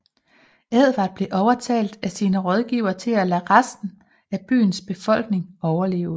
Edvard blev overtalt af sine rådgivere til at lade resten af byens befolkning overleve